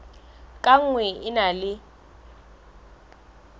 ka nngwe e na le